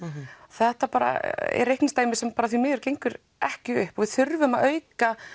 þetta er reikningsdæmi sem því miður gengur ekki upp og við þurfum að auka